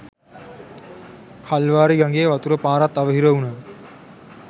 කල්වාරි ගඟේ වතුර පාරත් අවහිර වුණා..